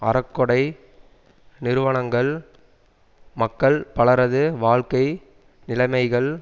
அறக்கொடை நிறுவனங்கள் மக்கள் பலரது வாழ்க்கை நிலைமைகள்